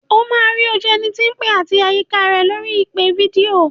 O máa rí ojú ẹni tí ń pè àti àyíká rẹ̀ lórí ìpè fídíò.